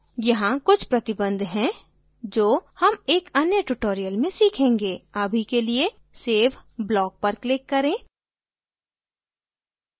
यहाँ कुछ प्रतिबन्ध हैं जो हम एक अन्य tutorial में सीखेंगे अभी के लिए save block पर click करें